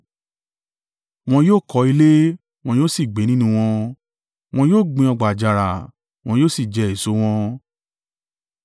Wọn yó ò kọ́ ilé, wọn yóò sì gbé nínú wọn wọn yóò gbin ọgbà àjàrà, wọn yóò sì jẹ èso wọn.